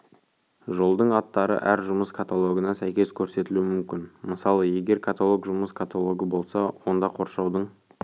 жолдың аттары әр жұмыс каталогына сәйкес көрсетілуі мүмкін мысалы егер каталог жұмыс каталогы болса онда қоршаудың